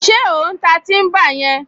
Ṣé ò ń ta tíḿbà yẹn?